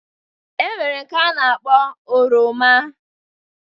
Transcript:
E nwere nke a na-akpọ oroma